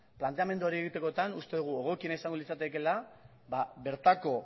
planteamendu hori egitekotan uste dugu egokiena izango litzatekeela bertako